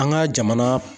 An ka jamana